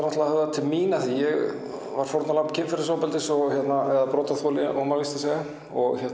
höfðað til mín því ég var fórnarlamb kynferðisofbeldis eða brotaþoli á maður víst að segja